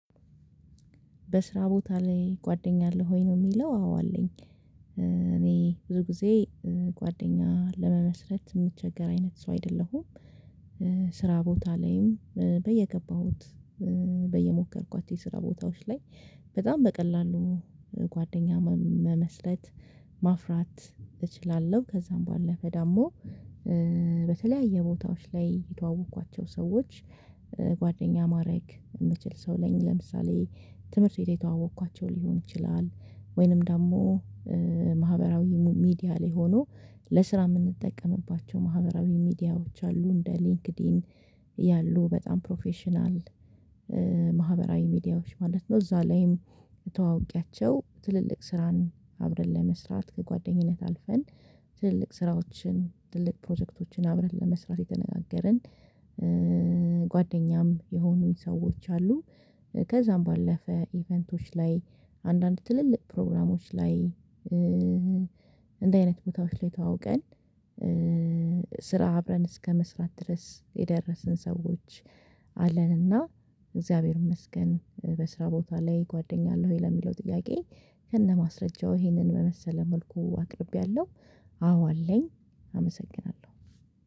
በስራ ቦታ ላይ ጓደኛ አለህ ወይ? ነው የሚለው አዎ አለኝ። እኔ ብዙ ጊዜ ጓደኛ ለመመስረት የምቸገር አይነት ሰው አይደለሁም ስራ ቦታ ላይም በየገባሁት የስራ ቦታዎች ላይ በጣም በቀላሉ ጓደኛ መመስለት ማፍራት እችላለሁ። ከዛም በኋላ ለፈ ደግሞ በተለያየ ቦታዎች ላይ የተዋወቅኳቸው ሰዎች ጓደኛ ማረግ የምችል ሰው ነኝ ለምሳሌ ትምህርት ቤት የተዋወቅኳቸው ሊሆን ይችላል ወይንም ደግሞ ማህበራዊ ሚዲያ ላይ ሆኖ ለስራ የምንጠቀምባቸው ማህበራዊ ሚዲያዎች አሉ እንደ ሊንክድኢን ያሉ በጣም ፕሮፌሽናል ማህበራዊ ሚዲያዎች ማለት ነው እዛ ላይም ተዋውቂያቸው ትልልቅ ስራን አብረን ለመስራት ከጓደኝነት አልፈን ትልልቅ ስራዎችን፣ ትልልቅ ፕሮጀክቶችን አብረን ለመስራት የተነጋገርን ጓደኛም የሆኑኝ ሰዎች አሉ። ከዛም ባለፈ ኢቨንቶች ላይ አንዳንድ ትልልቅ ፕሮግራሞች ላይ እንዱህ አይነት ቦታዎች ላይ ተዋውቀን ስራ አብረን እስከመስራት ድረስ የደረስን ሰዎች አለን እና እግዚአብሔር ይመስገን በስራ ቦታ ላይ ጓደኛ አለህ ወይ ለሚለው ጥያቄ ከነማስረጃው ይሄንን በመሰለ መልኩ አቅርቤያለሁ አዎ አለኝ አመሰግናለሁ።